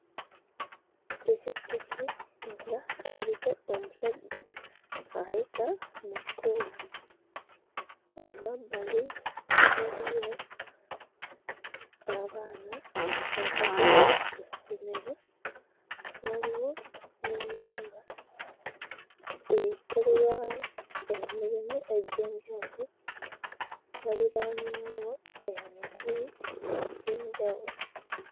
Ppikippiki nga eriko omusajja ayita mu kkubo, emabbali waliyo abaana abava ku ssomero, waliwo n'ennyumba ekolerwamu emirimu egy'enjawulo waliraanyeewo emiti egy'enjawulo.